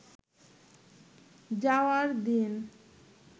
যাওয়ার দিন